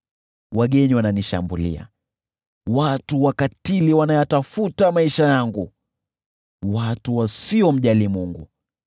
Wageni wananishambulia, watu wakatili wanayatafuta maisha yangu, watu wasiomjali Mungu.